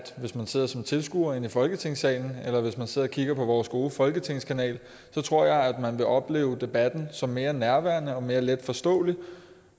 hvis man sidder som tilskuer i folketingssalen eller hvis man sidder og kigger på vores gode folketinget kanal at man vil opleve debatten som mere nærværende og mere letforståelig